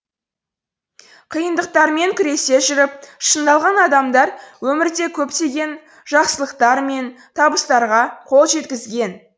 қиындықтармен күресе жүріп шыңдалған адамдар өмірде көптеген жақсылықтар мен табыстарға қол жеткізген